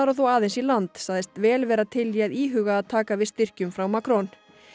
þó aðeins í land sagðist vel vera til í að íhuga að taka við styrkjum frá Macron